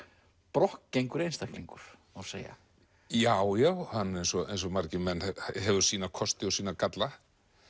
brokkgengur einstaklingur má segja já já eins og eins og margir menn hann hefur sína kosti og sína galla